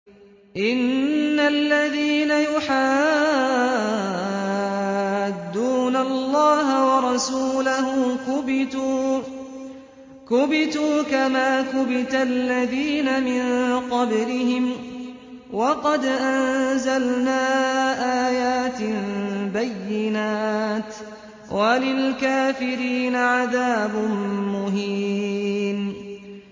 إِنَّ الَّذِينَ يُحَادُّونَ اللَّهَ وَرَسُولَهُ كُبِتُوا كَمَا كُبِتَ الَّذِينَ مِن قَبْلِهِمْ ۚ وَقَدْ أَنزَلْنَا آيَاتٍ بَيِّنَاتٍ ۚ وَلِلْكَافِرِينَ عَذَابٌ مُّهِينٌ